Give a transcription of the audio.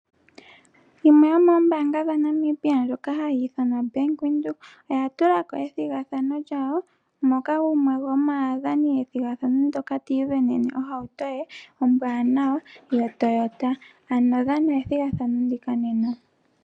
Yimwe yomoombanga dhaNamibia ndjoka hayi ithanwa Bank Windhoek oyi na ethigathano moka gumwe gomaakuthimbinga ti isindanene ohauto ye ombwaanawa yoToyota, ano kutha ombinga methigathano ndika nena.